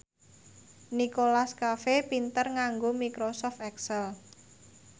Nicholas Cafe pinter nganggo microsoft excel